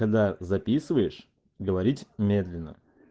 когда записываешь говорить медленно